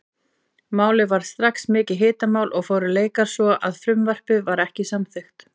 Málið varð strax mikið hitamál og fóru leikar svo að frumvarpið var ekki samþykkt.